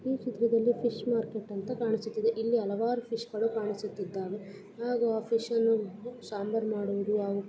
ಈ ಚಿತ್ರದಲ್ಲಿ fish market ಅಂತ ಕಾಣಿಸುತ್ತಿದೆ ಇಲ್ಲಿ ಹಲವಾರು ಫಿಶ್ಗಳು ಕಾಣಿಸುತ್ತಿದ್ದಾವೆ ಹಾಗೂ ಆ ಫಿಶ ನ್ನು ಸಾಂಬಾರ್ ಮಾಡುವುದು ಹಾಗು --